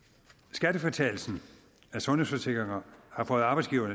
skattefritagelsen for sundhedsforsikringer har fået arbejdsgiverne